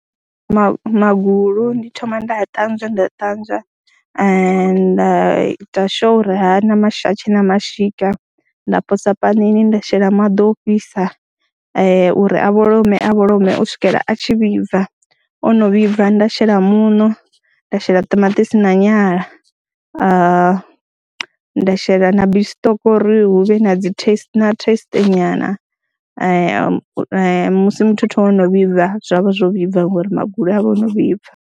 Ma magulu ndi thoma nda a ṱanzwa nda ṱanzwa nda ita sure uri ha na, ha tshe na mashika nda posa panini nda shela maḓi o fhisa uri a vholome a vholome u swikela a tshi vhibva, o no vhibva nda shela muṋo, nda shela ṱamaṱisi na nyala, nda shela na beef stock uri hu vhe na dzi thest taste nyana musi muthotho wo no vhibva zwa vha zwo vhibva ngori magulu a vha o no vhibva.